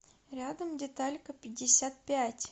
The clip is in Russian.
рядом деталька пятьдесят пять